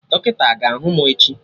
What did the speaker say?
Dọkịta aga ahụ mụ echi?